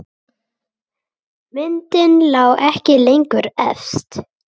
Myndin lá ekki lengur efst.